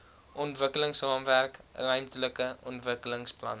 ontwikkelingsraamwerk ruimtelike ontwikkelingsplan